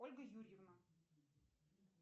ольга юрьевна